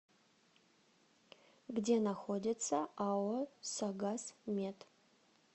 где находится ао согаз мед